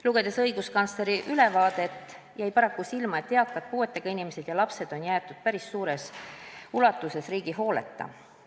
Lugedes õiguskantsleri ülevaadet, jäi paraku silma, et eakad puuetega inimesed ja lapsed on jäetud päris suures ulatuses riigi hooleta.